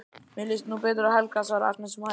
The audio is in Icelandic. Mér líst nú betur á Helga, svarar Agnes um hæl.